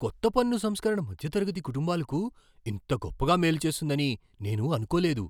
కొత్త పన్ను సంస్కరణ మధ్యతరగతి కుటుంబాలకు ఇంత గొప్పగా మేలు చేస్తుందని నేను అనుకోలేదు.